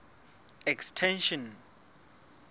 extension